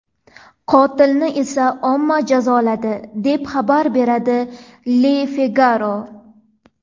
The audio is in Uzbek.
Qotilni esa omma jazoladi, deb xabar beradi Le Figaro.